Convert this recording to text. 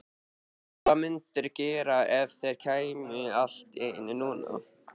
Hvað mundirðu gera ef þeir kæmu allt í einu núna?